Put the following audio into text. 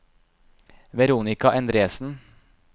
Veronica Endresen